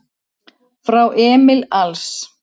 Frá Emil Als